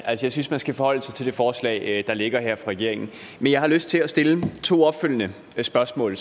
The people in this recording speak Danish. jeg synes man skal forholde sig til det forslag der ligger fra regeringen jeg har lyst til at stille to opfølgende spørgsmål